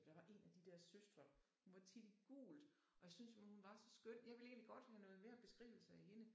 Men der var en af de der søstre hun var tit i gult og jeg syntes simpelthen hun var så skøn jeg vil egentlig godt have noget mere beskrivelse af hende